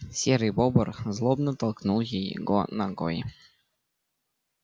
серый бобр злобно толкнул его ногой